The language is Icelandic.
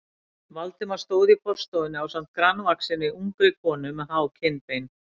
Valdimar stóð í forstofunni ásamt grannvaxinni, ungri konu með há kinnbein.